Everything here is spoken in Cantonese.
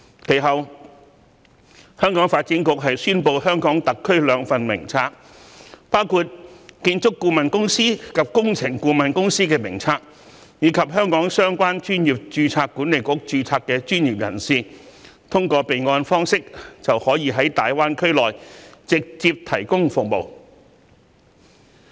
其後，香港發展局宣布和香港特區有關的兩份名冊，分別是建築顧問公司及工程顧問公司名冊，讓香港相關專業註冊管理局註冊的專業人士可通過備案方式，在大灣區直接提供服務。